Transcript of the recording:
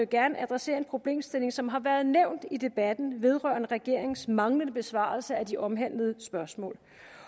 gerne adressere en problemstilling som har været nævnt i debatten vedrørende regeringens manglende besvarelse af de omhandlede spørgsmål